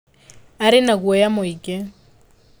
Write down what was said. Aarĩ na guoya mũingĩ.